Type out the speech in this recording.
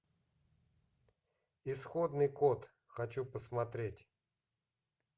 исходный код хочу посмотреть